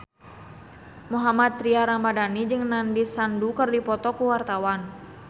Mohammad Tria Ramadhani jeung Nandish Sandhu keur dipoto ku wartawan